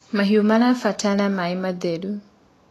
mahiũ marabatara maĩ matheru